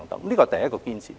這是第一個堅持。